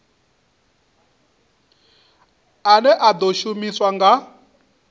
ane a ḓo shumiswa nga